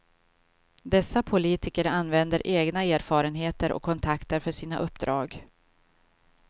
Dessa politiker använder egna erfarenheter och kontakter för sina uppdrag.